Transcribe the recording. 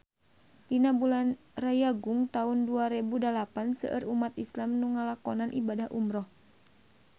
Dina bulan Rayagung taun dua rebu dalapan seueur umat islam nu ngalakonan ibadah umrah